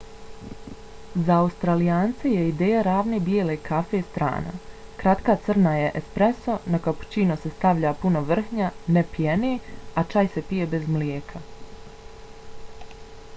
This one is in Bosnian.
za australijance je ideja ravne bijele kafe strana. kratka crna je espreso na kapućino se stavlja puno vrhnja ne pjene a čaj se pije bez mlijeka